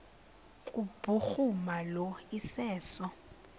kubhuruma lo iseso